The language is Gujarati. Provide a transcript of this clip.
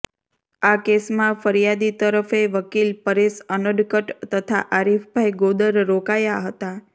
આ કેસમાં ફરીયાદી તરફે વકીલ પરેશ અનડકટ તથા આરીફભાઈ ગોદર રોકાયા હતા